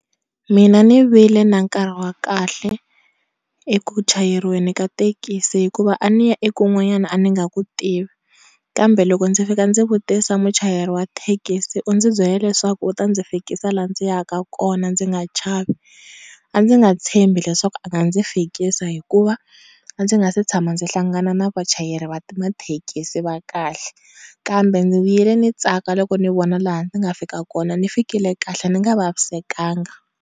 Mina ni vile na nkarhi wa kahle eku chayeriweni ka tekisi hikuva a ni ya eku n'wanyani a ni nga ku tivi kambe loko ndzi fika ndzi vutisa muchayeri thekisi u ndzi byele leswaku u ta ndzi fikisa laha ndzi ya ka kona ndzi nga chavi a ndzi nga tshemba leswaku a fikisa hikuva a ndzi nga se tshama ndzi hlangana na vachayeri va mathekisi va kahle kambe ni vi le ni tsaka loko ni vona laha ni nga fika kona ni fikile kahle ni nga vavisekanga.